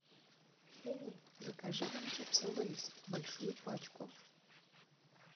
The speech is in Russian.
закажи нам чипсы лейс большую пачку